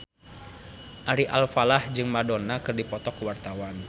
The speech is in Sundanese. Ari Alfalah jeung Madonna keur dipoto ku wartawan